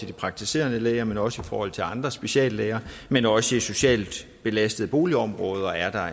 de praktiserende læger men også i forhold til andre speciallæger men også i socialt belastede boligområder er der